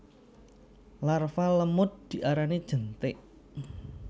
Larva lemud diarani jentik